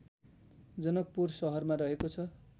जनकपुर सहरमा रहेको छ